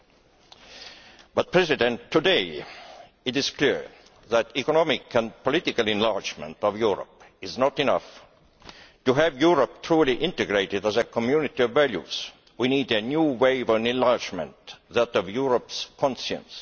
However, today it is clear that economic and political enlargement of Europe is not enough to have Europe truly integrated as a community of values'. We need a new wave of enlargement that of Europe's conscience.